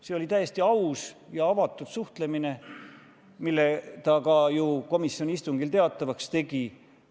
See oli täiesti aus ja avatud suhe, mille ta ka ju komisjoni istungil teatavaks tegi.